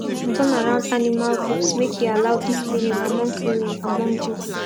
turnaround animal groups make e allow deep cleaning among cleaning among group